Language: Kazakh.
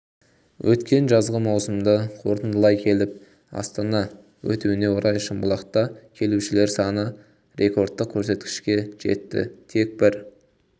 өткен жазғы маусымды қорытындылай келіп астане өтуіне орай шымбұлақта келушілер саны рекордтық көрсеткішке жетті тек бір